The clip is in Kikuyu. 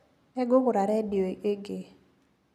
Nĩngũgũra redio ĩngĩ.